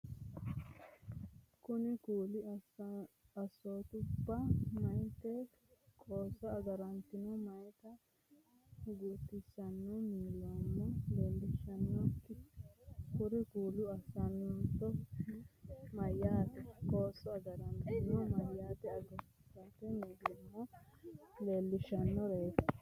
Kuri kulli assootubba meyaate qoosso agaratenna meyaata guutisate millimmo leellishshannoreeti Kuri kulli assootubba meyaate qoosso agaratenna meyaata guutisate millimmo leellishshannoreeti.